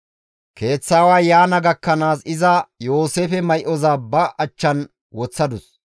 Keeththa aaway yaana gakkanaas iza Yooseefe may7oza ba achchan woththadus.